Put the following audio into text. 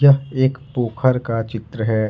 यह एक पोखर का चित्र है।